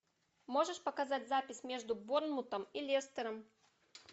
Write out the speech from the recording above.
можешь показать запись между борнмутом и лестером